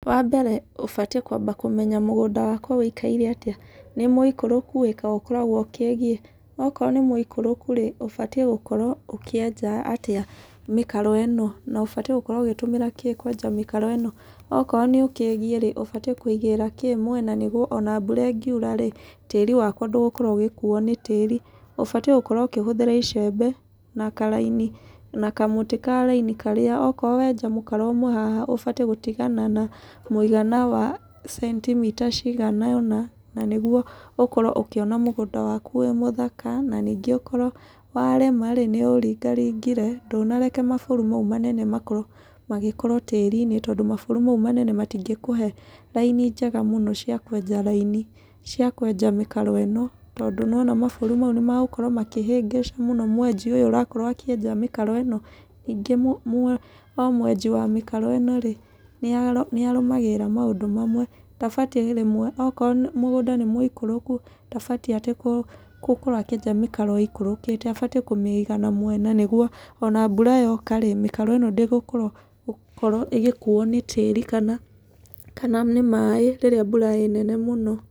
Wa mbere ũbatiĩ kwamba kũmenya mũgũnda wakwa wĩikaire atĩa. Nĩ mũikũrũku ĩĩ kana ũkoragwo ũkĩgiĩ? Okorwo nĩ mũikũrũku rĩ, ũbatiĩ gũkorwo ũkĩenja atĩa mĩkaro ĩno? Na ũbatiĩ gũkorwo ũgĩtũmĩra kĩ kwenja mĩkaro ĩno. Okorwo nĩ ũkĩgiĩ rĩ, ũbatiĩ nĩ kũigĩrĩra kĩ mwena nĩguo ona mbura ĩkiura rĩ, tĩri wakwa ndũgũkorwo ũgĩkuo nĩ tĩri. Ũbatiĩ gũkorwo ũkĩhũthĩra icembe, na karaini, na kamũtĩ ka raini karĩa okorwo wenja mũkaro ũmwe haha ũbatiĩ gũtigana na mũigana wa centimita cigana ona, na nĩguo ũkorwo ũkĩona mũgũnda waku wĩ mũthaka, na ningĩ ũkorwo warĩma rĩ, nĩ ũũringaringire, ndũnareka maburu mau manene makorwo magĩkorwo tĩri-inĩ, tondũ maburu mau manene matingĩkũhe raini njega mũno cia kwenja raini, cia kwenja mĩkaro ĩno, tondũ nĩwona maburu mau nĩ magũkorwo makĩhĩngĩca mũno mwenji ũyũ ũrakorwo akĩenja mĩkaro ĩno. Ningĩ o mwenji wa mĩkaro ĩno rĩ, nĩ arũmagĩrĩra maũndũ mamwe, ndabatiĩ rĩmwe. Okorwo mũgũnda nĩ mũikũrũku, ndabatiĩ atĩ gũkorwo atĩ akĩenja mĩkaro ĩikũrũkĩte abatiĩ kũmĩiga na mwena nĩguo, ona mbura yoka rĩ, mĩkaro ĩno ndĩgũkorwo ĩgĩkorwo gũkuo nĩ tĩri kana kana nĩ maĩ rĩrĩa mbura ĩĩ nene mũno.